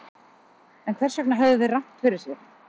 En hvers vegna höfðu þeir rangt fyrir sér?